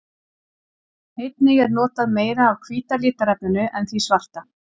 Einnig er notað meira af hvíta litarefninu en því svarta.